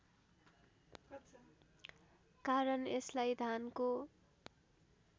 कारण यसलाई धानको